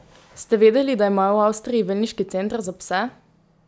Ste vedeli, da imajo v Avstriji velneški center za pse?